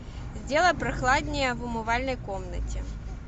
сделай прохладнее в умывальной комнате